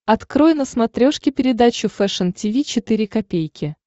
открой на смотрешке передачу фэшн ти ви четыре ка